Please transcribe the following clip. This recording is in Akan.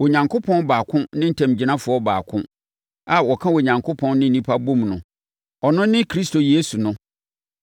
Onyankopɔn baako ne ntamgyinafoɔ baako a ɔka Onyankopɔn ne nnipa bom no, ɔno ne Kristo Yesu no.